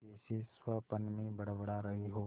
जैसे स्वप्न में बड़बड़ा रही हो